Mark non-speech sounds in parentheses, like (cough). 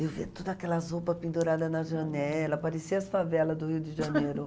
Eu vi todas aquelas roupas penduradas na janela, pareciam as favelas do Rio de Janeiro. (laughs)